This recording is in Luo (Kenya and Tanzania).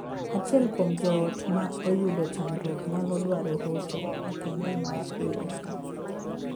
Achiel kuom joot ma oyudo chandruok nyalo dwaro hocho makende mar kweyo paro.